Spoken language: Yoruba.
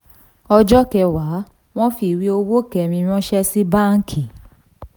ọjọ́ kẹwàá wọ́n fi ìwé owó kẹ́rin ranṣẹ́ sí báńkì